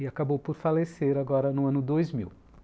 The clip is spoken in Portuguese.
E acabou por falecer agora no ano dois mil.